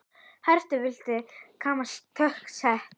Hatrinu virðast lítil takmörk sett.